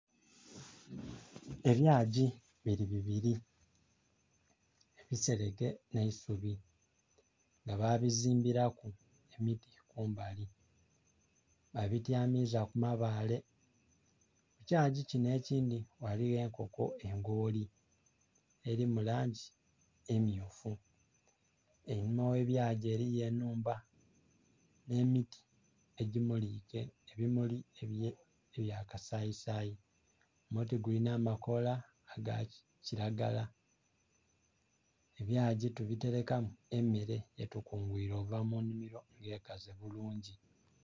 Ebyagi biri bibiri bisereke nha isubi nga babizimbiraku emiti kumbali babityamiza ku mabale. Ekyagi kinho ekindhi ghaligho enkoto engoli eri mu langi emyufu. Einhuma ghe ebyagi eriyo enhumba nhe miti egimulike ebimulimuli ebya kasayisayi, omuti gulinha amakoola aga kilagala. Ebyagi tubiterekamu emere gye tukunguire okuva mu nhimiro nga ekaze bulungi.